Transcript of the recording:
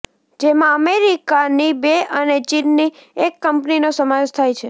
જેમાં અમેરિકાની બે અને ચીનની એક કંપનીનો સમાવેશ થાય છે